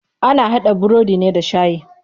Ana haɗa burodi ne da shayi.